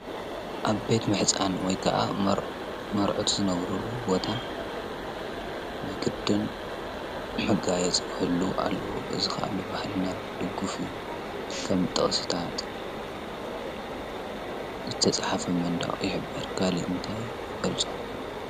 ኣብ ቤት ምሕፃን ወይ ከዓ መርዑት ዝነብርሉ ቦታ ናይ ግድን መጋየፂ ክህልዎ ኣለዎ፡፡ እዚ ከዓ ብባህልና ድጉፍ እዩ፡፡ ከም ጥቅስታት ዝተፅሓፉ ኣብ መንደቅ ይሕብር፡፡ ካሊእ እንታይ ይገልፆ?